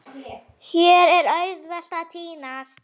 Hér er auðvelt að týnast.